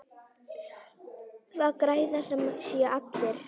Það græða sem sé allir.